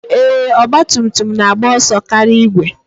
Ee, Ọgbatumtum na-agba ọso karịa igwe